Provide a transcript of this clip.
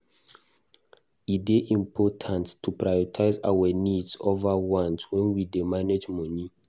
E dey important to prioritize our needs over wants when we dey manage money.